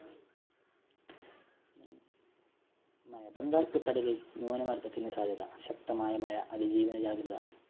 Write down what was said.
ബംഗാള്‍ ഉള്‍ക്കടലില്‍ ന്യൂനമര്‍ദ്ദത്തിനു സാധ്യത ശക്തമായ മഴ അതിജീവന ജാഗ്രത.